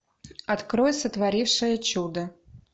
открой сотворившая чудо